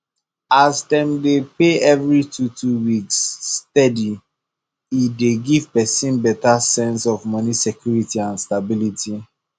as dem dey pay every twotwo weeks steady e dey give person better sense of money security and stability